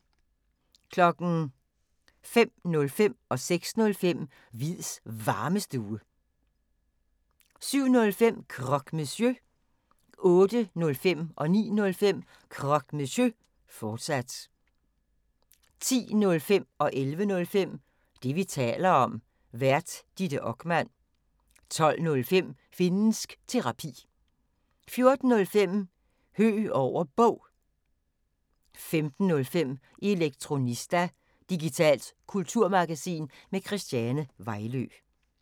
05:05: Hviids Varmestue 06:05: Hviids Varmestue 07:05: Croque Monsieur 08:05: Croque Monsieur, fortsat 09:05: Croque Monsieur, fortsat 10:05: Det, vi taler om. Vært: Ditte Okman 11:05: Det, vi taler om. Vært: Ditte Okman 12:05: Finnsk Terapi 14:05: Høeg over Bog 15:05: Elektronista – digitalt kulturmagasin med Christiane Vejlø